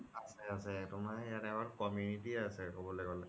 আছে আছে তুমাৰ ইয়াত আমাৰ community আছে ক্'বলৈ গ্'লে